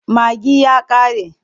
Magi ya ƙare.